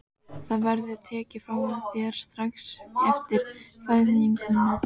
Það verður tekið frá þér strax eftir fæðinguna.